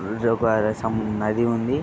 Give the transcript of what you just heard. ఇది ఒక నది ఉంది.